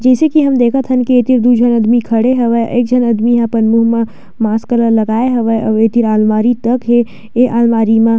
जइसे की हम देखत हन कि एती दू झन आदमी खड़े हवय एक झन आदमी ह अपन मुंह म मास्क ल लगाए हवय आऊ ये तीर आलमारी तक हे ये आलमारी मा--